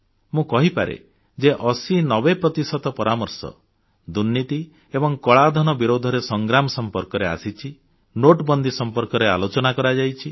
ମୁଁ କହିପାରେ ଯେ 8090 ପ୍ରତିଶତ ପରାମର୍ଶ ଦୁର୍ନୀତି ଏବଂ କଳାଧନ ବିରୋଧୀ ସଂଗ୍ରାମ ସମ୍ପର୍କରେ ଆସିଛି ନୋଟବନ୍ଦୀ ସମ୍ପର୍କରେ ଆଲୋଚନା କରାଯାଇଛି